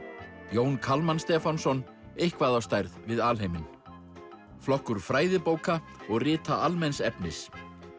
Jón Kalman Stefánsson eitthvað á stærð við alheiminn flokkur fræðibóka og rita almenns efnis